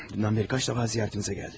Dünəndən bəri neçə dəfə ziyarətinizə gəldi?